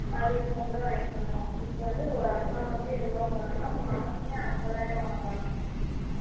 அதிகமா கூட வாங்கிகலாமா இப்போ வந்து ஒரு அக்கா வந்து எவளோ வாங்குராங்கலாம் மாசமே ஐம்பது ஆயிரம் வாங்குராங்கலாம்